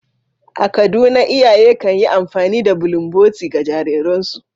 A Kaduna, iyaye kan yi amfani da bulunboti, ga jariransu.